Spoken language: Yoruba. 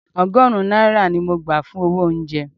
Ọgọ́rùn-ún náírà ni mo gbà fún owó oúnjẹ